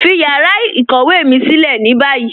Fí yàrá ìkọ̀wé mi silẹ̀ ní báyì